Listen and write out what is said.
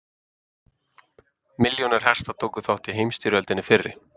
Milljónir hesta tóku þátt í heimsstyrjöldinni fyrri.